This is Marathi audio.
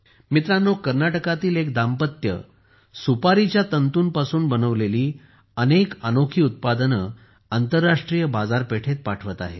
मित्रांनो कर्नाटकातील एक जोडपे सुपारीच्या तंतुंपासून बनवलेली अनेक अनोखी उत्पादने आंतरराष्ट्रीय बाजारपेठेत पाठवत आहेत